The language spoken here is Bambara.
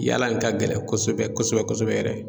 Yaala in ka gɛlɛn kosɛbɛ kosɛbɛ kosɛbɛ yɛrɛ.